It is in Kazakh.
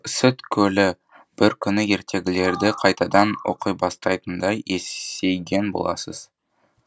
сүт көлі бір күні ертегілерді қайтадан оқибастайтындай есейген боласыз